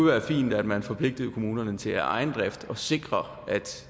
være fint at man forpligtede kommunerne til af egen drift at sikre at